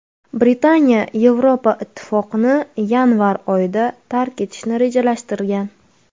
Britaniya Yevropa Ittifoqini yanvar oyida tark etishni rejalashtirgan.